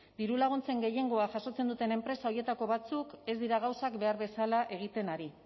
dirulaguntzen gehiengoa jasotzen duten enpresa horietako batzuk ez dira gauzak behar bezala egiten ari